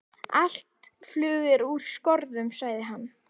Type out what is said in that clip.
Allt flug er úr skorðum, sagði hann.